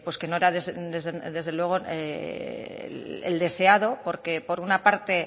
que no era desde luego el deseado porque por una parte